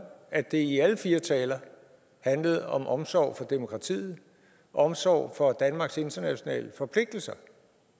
at det i alle fire taler handlede om omsorg for demokratiet omsorg for danmarks internationale forpligtelser